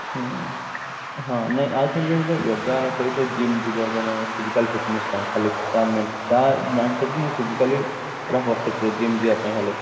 ହୁଁ ହଁ ନାଇଁ ଆଉଥରେ ଯଦି yoga ଆମେ କରିବା gym ଯିବ ଜଣେ physical fitness ପାଇଁ ତାହେଲେ ତା mindset କୁ ମୁଁ physically ପୁରା perfectly gym ଯିବା ପାଇଁ ହେଲେ